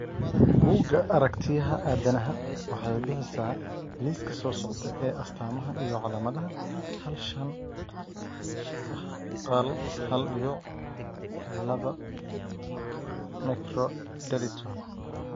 Bugga Aaragtiyaha Aadanaha waxay bixisaa liiska soo socda ee astamaha iyo calaamadaha hal shan q hal hal dibic labaa microdeletion.